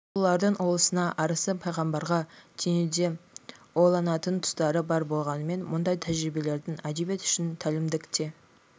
ұлылардың ұлысына арысы пайғамбарға теңеуде ойланатын тұстары бар болғанымен мұндай тәжірибелердің әдебиет үшін тәлімдік те